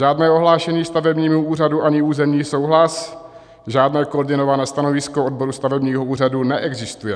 Žádné ohlášení stavebnímu úřadu ani územní souhlas, žádné koordinované stanovisko odboru stavebního úřadu neexistuje.